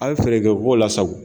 A' ye fɛɛrɛ kɛ o ko lase aw ma.